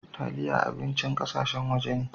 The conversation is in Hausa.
Taliyah abincin ƙasashen waje ne.